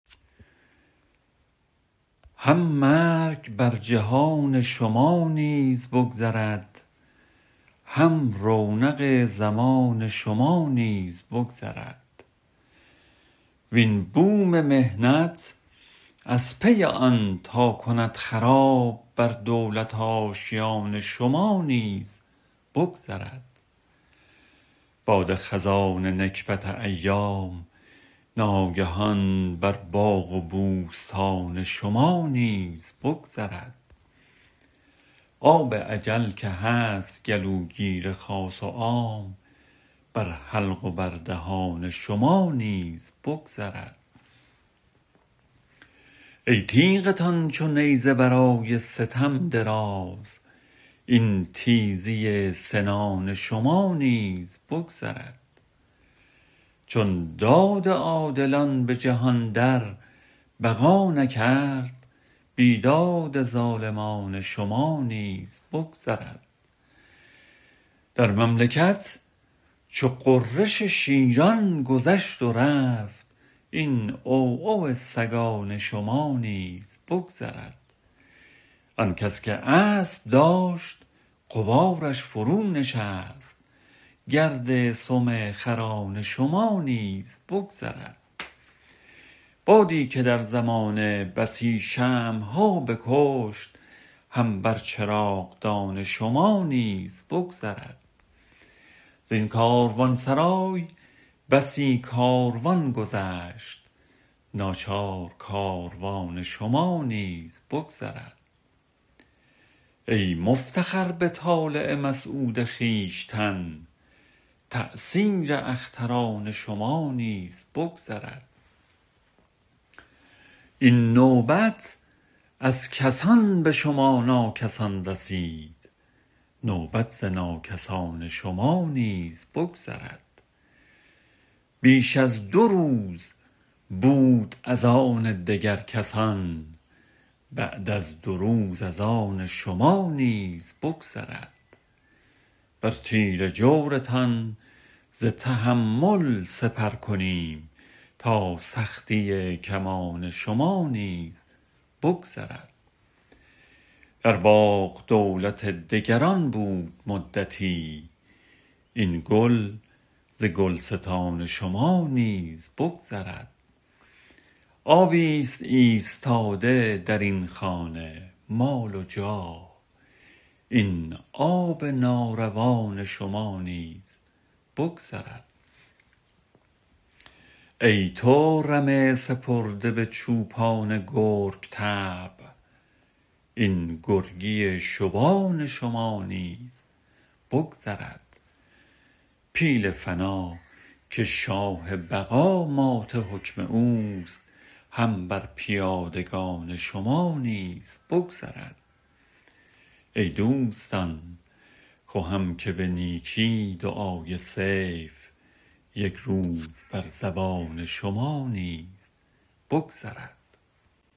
هم مرگ بر جهان شما نیز بگذرد هم رونق زمان شما نیز بگذرد وین بوم محنت از پی آن تا کند خراب بر دولت آشیان شما نیز بگذرد باد خزان نکبت ایام ناگهان بر باغ و بوستان شما نیز بگذرد آب اجل که هست گلوگیر خاص و عام بر حلق و بر دهان شما نیز بگذرد ای تیغتان چو نیزه برای ستم دراز این تیزی سنان شما نیز بگذرد چون داد عادلان به جهان در بقا نکرد بیداد ظالمان شما نیز بگذرد در مملکت چو غرش شیران گذشت و رفت این عوعو سگان شما نیز بگذرد آن کس که اسب داشت غبارش فرونشست گرد سم خران شما نیز بگذرد بادی که در زمانه بسی شمع ها بکشت هم بر چراغدان شما نیز بگذرد زین کاروانسرای بسی کاروان گذشت ناچار کاروان شما نیز بگذرد ای مفتخر به طالع مسعود خویشتن تأثیر اختران شما نیز بگذرد این نوبت از کسان به شما ناکسان رسید نوبت ز ناکسان شما نیز بگذرد بیش از دو روز بود از آن دگر کسان بعد از دو روز از آن شما نیز بگذرد بر تیر جورتان ز تحمل سپر کنیم تا سختی کمان شما نیز بگذرد در باغ دولت دگران بود مدتی این گل ز گلستان شما نیز بگذرد آبی ست ایستاده درین خانه مال و جاه این آب ناروان شما نیز بگذرد ای تو رمه سپرده به چوپان گرگ طبع این گرگی شبان شما نیز بگذرد پیل فنا که شاه بقا مات حکم اوست هم بر پیادگان شما نیز بگذرد ای دوستان خوهم که به نیکی دعای سیف یک روز بر زبان شما نیز بگذرد